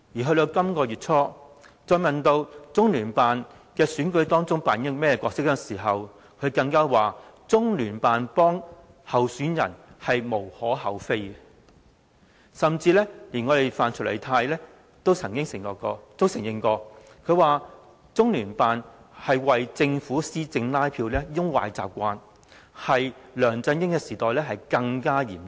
到了本月初，她再被問到中聯辦在選舉中扮演甚麼角色的時候，她說中聯辦協助候選人是"無可厚非"，甚至連范徐麗泰都曾經承認，中聯辦有為政府施政拉票的壞習慣，在梁振英時代更嚴重。